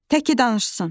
Təki danışsın.